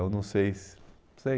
Eu não sei se... sei.